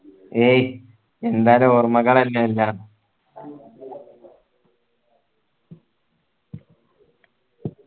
എയ് എന്താലും ഓർമകളല്ലേ എല്ലാ